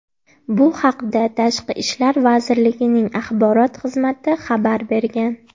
Bu haqda Tashqi ishlar vazirligining axborot xizmati xabar bergan .